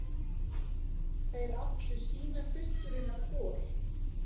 Þeir áttu sína systurina hvor.